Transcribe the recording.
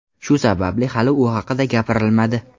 Shu sababli hali u haqida gapirilmadi.